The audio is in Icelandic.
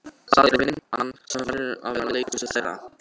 Það er vinn- an sem verður að vera leikhúsið þeirra.